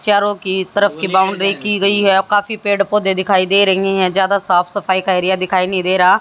चारों की तरफ की बाउंड्री की गई है काफी पेड़ पौधे दिखाई दे रही है ज्यादा साफ सफाई का एरिया दिखाई नहीं दे रहा--